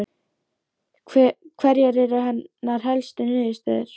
Heimir Már Pétursson: Hverjar eru hennar helstu niðurstöður?